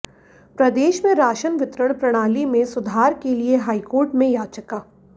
प्रदेश में राशन वितरण प्रणाली में सुधार के लिए हाईकोर्ट में याचिका